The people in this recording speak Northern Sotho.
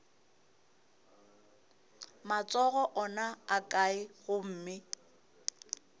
matsogo ona a kae gomme